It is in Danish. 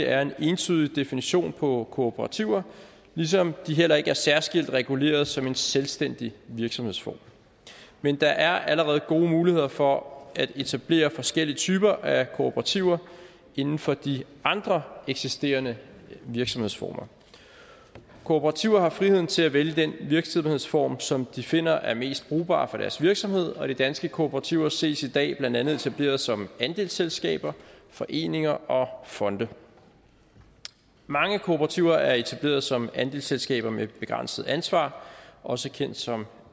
er en entydig definition på kooperativer ligesom de heller ikke er særskilt reguleret som en selvstændig virksomhedsform men der er allerede gode muligheder for at etablere forskellige typer af kooperativer inden for de andre eksisterende virksomhedsformer kooperativer har friheden til at vælge den virksomhedsform som de finder er mest brugbar for deres virksomhed og de danske kooperativer ses i dag blandt andet etableret som andelsselskaber foreninger og fonde mange kooperativer er etableret som andelsselskaber med begrænset ansvar også kendt som